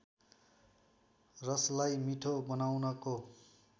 रसलाई मिठो बनाउनको